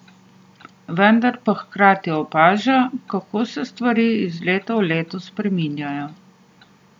Vendar pa hkrati opaža, kako se stvari iz leta v leto spreminjajo.